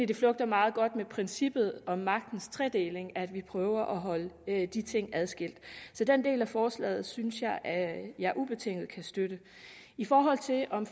det flugter meget godt med princippet om magtens tredeling at vi prøver at holde de ting adskilt så den del af forslaget synes jeg at jeg ubetinget kan støtte i forhold til om